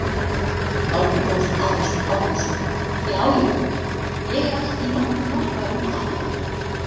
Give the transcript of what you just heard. Árni Páll Árnason: Já já, ég er ekki í nokkrum vafa um það?